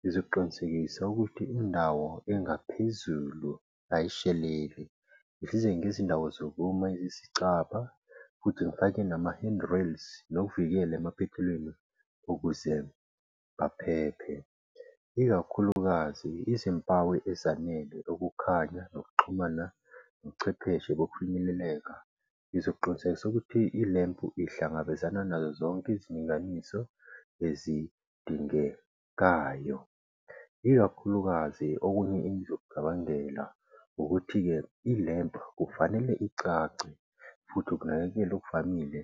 Ngizoqinisekisa ukuthi indawo engaphezulu ayisheleli. ngezindawo zokuma eziyisicaba, futhi ngifake nama-hand rails, nokuvikela emaphethelweni ukuze baphephe. Ikakhulukazi izimpawu ezanele ukukhanya, nokuxhumana, nochwepheshe bokufinyeleleka ngizoqinisekisa ukuthi ilempu ihlangabezane nazozonke izilinganiso ezidingekayo. Ikakhulukazi okunye engizokucabangela ukuthi ke i-lempu kufanele icace, futhi ukunakekela okuvamile